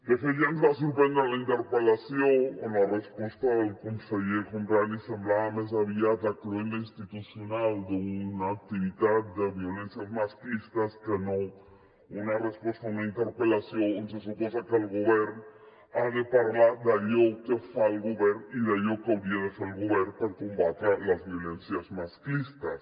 de fet ja ens va sorprendre la interpel·lació on la resposta del conseller homrani semblava més aviat la cloenda institucional d’una activitat de violències masclistes que no una resposta a una interpel·lació on se suposa que el govern ha de parlar d’allò que fa el govern i d’allò que hauria de fer el govern per combatre les violències masclistes